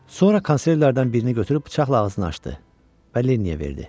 Sonra konservlərdən birini götürüb bıçaqla ağzını açdı və Lenniyə verdi.